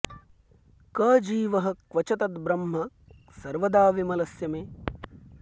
क जीवः क्व च तद्ब्रह्म सर्वदा विमलस्य मे